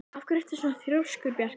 Af hverju ertu svona þrjóskur, Bjarki?